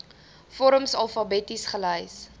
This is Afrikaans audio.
vorms alfabeties gelys